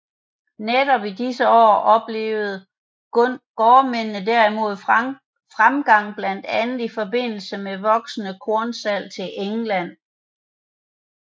Netop i disse år oplevede gårdmændene derimod fremgang blandt andet i forbindelse med voksende kornsalg til England